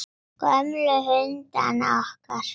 Gömlu hundana okkar.